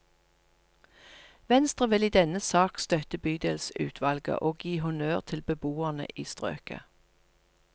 Venstre vil i denne sak støtte bydelsutvalget og gi honnør til beboerne i strøket.